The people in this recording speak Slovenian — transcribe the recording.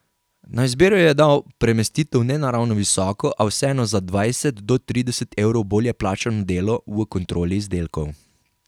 Na izbiro ji je dal premestitev na ne ravno visoko, a vseeno za dvajset do trideset evrov bolje plačano delo v kontroli izdelkov.